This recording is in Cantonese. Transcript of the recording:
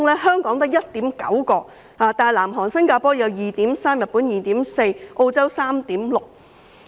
香港只有 1.9， 但南韓和新加坡有 2.3， 日本有 2.4， 澳洲則有 3.6。